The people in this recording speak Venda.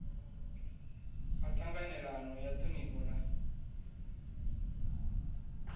ha ṱhanganelano ya ṱhonifho na